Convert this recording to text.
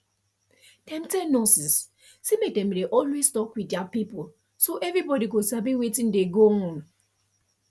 dem tell nurses say make dem dey always talk with their pipo so everybody go sabi wetin dey go on